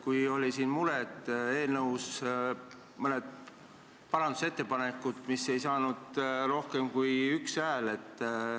Siin kõlas mure, et eelnõu kohta esitati mõned parandusettepanekud, mis ei saanud komisjonis rohkem kui ühe hääle.